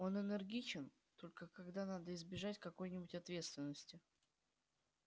он энергичен только когда надо избежать какой-нибудь ответственности